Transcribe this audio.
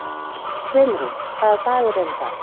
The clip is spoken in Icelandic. Brimrún, hvaða dagur er í dag?